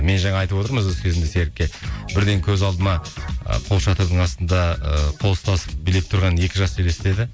мен жаңа айтып отырмын үзіліс кезінде серікке бірден көз алдыма ы қол шатырдың астында ы қол ұстасып билеп тұрған екі жас елестеді